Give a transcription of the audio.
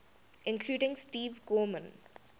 including steve gorman